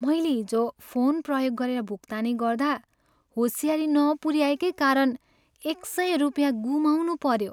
मैले हिजो फोन प्रयोग गरेर भुक्तानी गर्दा होसियारी नपुऱ्याएकै कारण एक सय रुपियाँ गुमाउनुपऱ्यो।